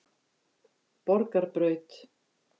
Borgarbraut